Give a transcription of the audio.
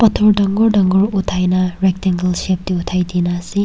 pathor dangor dangor uthai na rectangle shape tey uthai dina ase.